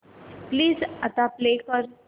please आता play कर